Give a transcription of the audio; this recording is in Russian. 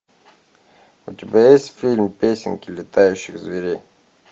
у тебя есть фильм песенки летающих зверей